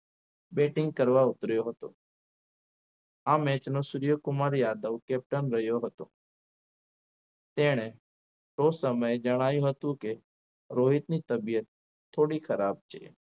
Batting કરવા ઉતર્યો હતો આ match નો સૂર્યકુમાર યાદવ captain રહ્યો હતો તેણે શો સમય જણાવ્યું હતું કે રોહિત ની તબિયત થોડી ખરાબ છે.